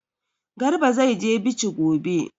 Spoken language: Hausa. Garba zai je Bichi gobe.